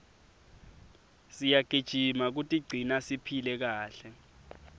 siyagijima kutigcina siphile kahle